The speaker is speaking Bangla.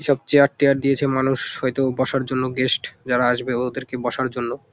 সব চেয়ার টিয়ার দিয়েছে মানুষ হয়তো বসার জন্য গেস্ট যারা আসবে ওদেরকে বসার জন্য ।